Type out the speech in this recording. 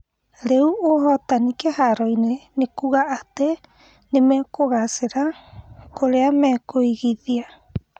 Rĩu ũhotani kĩharoinĩ nĩ kuga atĩ nĩmekũgacĩra kũrĩa mekũigithia?